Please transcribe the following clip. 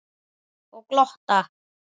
Og glotta.